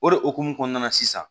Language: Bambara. O de hukumu kɔnɔna na sisan